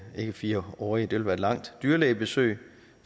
fire årlige dyrlægebesøg